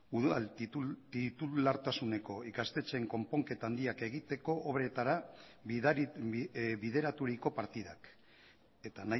udal titulartasuneko ikastetxeen konponketa handiak egiteko obretara bideraturiko partidak eta